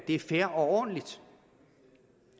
det er fair og ordentligt